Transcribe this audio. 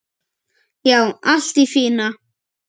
Já, allt í fína.